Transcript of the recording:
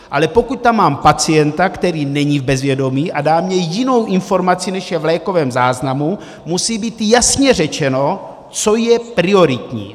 Ale pokud tam mám pacienta, který není v bezvědomí a dá mi jinou informaci, než je v lékovém záznamu, musí být jasně řečeno, co je prioritní.